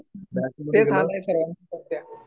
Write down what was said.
सर्वांचे तेच हाल आहे सध्या.